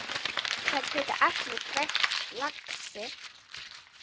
Það geta allir grætt, lagsi.